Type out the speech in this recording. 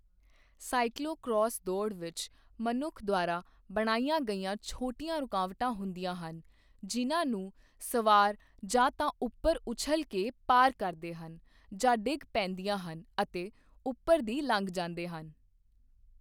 Cyclocross ਦੌੜ ਵਿੱਚ ਮਨੁੱਖ ਦੁਆਰਾ ਬਣਾਈਆਂ ਗਈਆਂ ਛੋਟੀਆਂ ਰੁਕਾਵਟਾਂ ਹੁੰਦੀਆਂ ਹਨ ਜਿੰਨਾਂ ਨੂੰ ਸਵਾਰ ਜਾਂ ਤਾਂ ਉੱਪਰ ਉੱਛਲ ਕੇ ਪਾਰ ਕਰਦੇ ਹਨ ਜਾਂ ਡਿੱਗ ਪੈਂਦੀਆਂ ਹਨ ਅਤੇ ਉੱਪਰ ਦੀ ਲੰਘ ਜਾਂਦੇ ਹਨ।